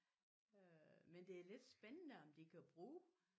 Øh men det er lidt spændende om de kan bruge